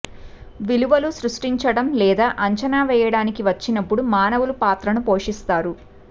విలువలు సృష్టించడం లేదా అంచనా వేయడానికి వచ్చినప్పుడు మానవులు పాత్రను పోషిస్తారు